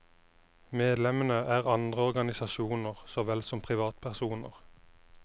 Medlemmene er andre organisasasjoner så vel som privatpersoner.